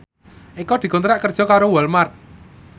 Eko dikontrak kerja karo Walmart